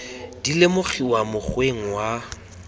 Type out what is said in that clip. di lemogiwa mo mokgweng wa